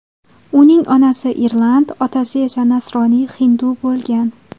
Uning onasi irland, otasi esa nasroniy-hindu bo‘lgan.